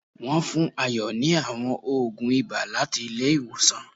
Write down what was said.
Wón fún Ayo ni àwọn ògùn ibà láti ilé ìwòsàn